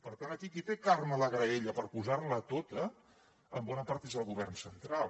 per tant aquí qui té carn a la graella per posar la tota en bona part és el govern central